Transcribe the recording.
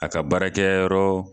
A ka baarakɛ yɔrɔ